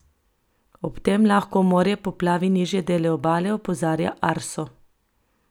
Ob tem lahko morje poplavi nižje dele obale, opozarja Arso.